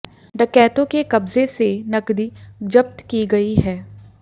डकैतों के कब्जे से नकदी जब्त की गई है